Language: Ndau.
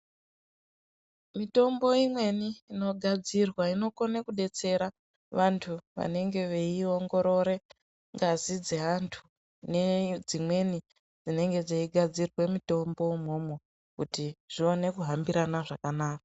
Mitombo imweni inogadzirwa inokone kudetsera vantu vanenge veiongorore ngazi dzeantu nedzimweni dzinenge dzeigadzira mitombo mwona imwomwo kuti zvione hambirana zvakanaka.